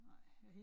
Nej